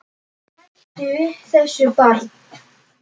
Hættu þessu barn!